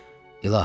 İlahi!